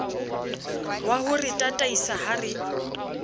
waho re tataisa ha re